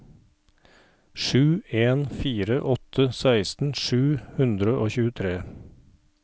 sju en fire åtte seksten sju hundre og tjuetre